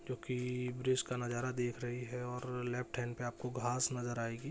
जो की वृष का नज़ारा देख रही है और लेफ्ट हैन्ड पे आपको घास नज़र आएगी।